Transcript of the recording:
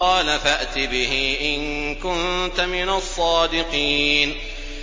قَالَ فَأْتِ بِهِ إِن كُنتَ مِنَ الصَّادِقِينَ